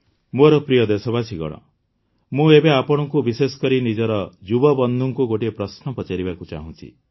ମୋର ପ୍ରିୟ ଦେଶବାସୀଗଣ ମୁଁ ଏବେ ଆପଣଙ୍କୁ ବିଶେଷକରି ନିଜର ଯୁବବନ୍ଧୁଙ୍କୁ ଗୋଟିଏ ପ୍ରଶ୍ନ ପଚାରିବାକୁ ଚାହୁଁଛି